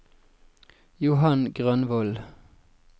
Johan Grønvold